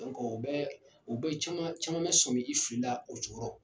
ko bɛ caman caman be sɔnmi i fili la o cogo rɔ.